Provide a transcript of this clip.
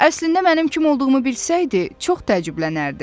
Əslində mənim kim olduğumu bilsəydi, çox təəccüblənərdi.